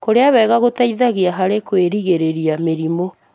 Kũrĩa wega gũteithagia harĩ kũgirĩrĩria mĩrimũ.